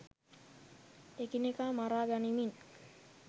එකිනෙකා මරා ගනිමින්